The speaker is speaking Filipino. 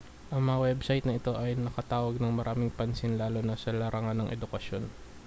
ang mga website na ito ay nakatawag ng maraming pansin lalo na sa larangan ng edukasyon